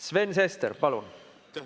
Sven Sester, palun!